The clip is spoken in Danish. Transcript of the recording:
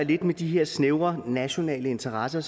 med de her snævre nationale interesser